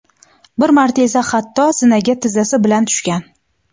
Bir marta esa hatto zinaga tizzasi bilan tushgan.